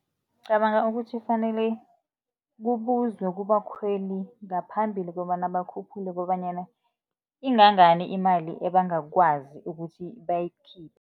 Ngicabanga ukuthi kufanele kubuzwe kubakhweli ngaphambili kobana bakhuphule kobanyana, ingangani imali ebangakwazi ukuthi bayikhiphe.